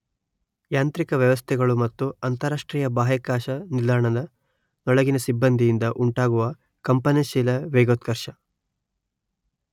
ಯಾಂತ್ರಿಕ ವ್ಯವಸ್ಥೆಗಳು ಮತ್ತು ಅಂತರರಾಷ್ಟ್ರೀಯ ಬಾಹ್ಯಾಕಾಶ ನಿಲ್ದಾಣದ ನೊಳಗಿನ ಸಿಬ್ಬಂದಿಯಿಂದ ಉಂಟಾಗುವ ಕಂಪನಶೀಲ ವೇಗೋತ್ಕರ್ಷ.